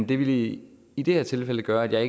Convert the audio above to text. det ville i i det her tilfælde gøre at jeg